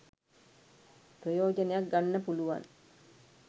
ප්‍රයෝජනයක් ගන්න පුළුවන්